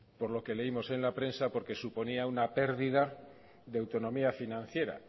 por lo que leímos en la prensa porque suponía una pérdida de autonomía financiera